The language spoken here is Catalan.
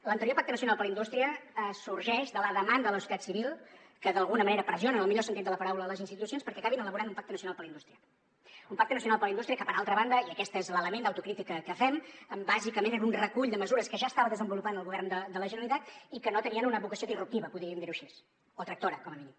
l’anterior pacte nacional per la indústria sorgeix de la demanda de la societat civil que d’alguna manera pressiona en el millor sentit de la paraula les institucions perquè acabin elaborant un pacte nacional per la indústria un pacte nacional per la indústria que per altra banda i aquesta és l’element d’autocrítica que fem bàsicament era un recull de mesures que ja estava desenvolupant el govern de la generalitat i que no tenien una vocació disruptiva podríem dir ho així o tractora com a mínim